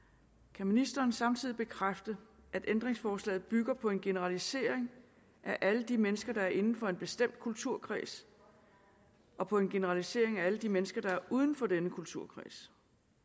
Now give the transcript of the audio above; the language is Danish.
kan ministeren samtidig bekræfte at ændringsforslaget bygger på en generalisering af alle de mennesker der er inden for en bestemt kulturkreds og på en generalisering af alle de mennesker der er uden for denne kulturkreds